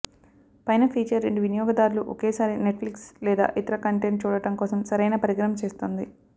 పైన ఫీచర్ రెండు వినియోగదారులు ఒకేసారి నెట్ఫ్లిక్స్ లేదా ఇతర కంటెంట్ చూడటం కోసం సరైన పరికరం చేస్తుంది